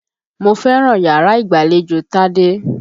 Mo fẹ́ràn yàrá ìgbàlejò Tádé.